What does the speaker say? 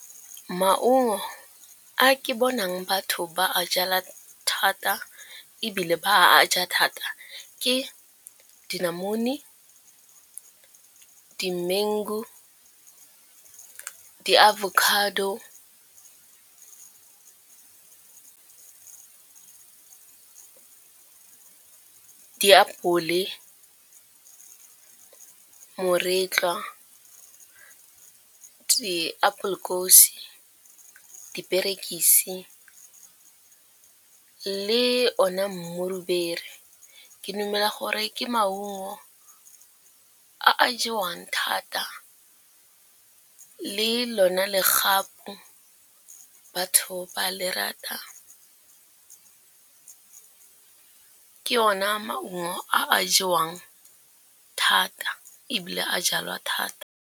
Maungo a ke bonang batho ba a jala thata ebile ba a ja thata ke dinamune, di-mangu, di- avocado, diapole, moretlwa, di-apple kose, diperekisi le one mmurubele. Ke dumela gore ke maungo a a jewang thata le lona legapu batho ba le rata ke ona maungo a a jewang thata ebile a jalwa thata.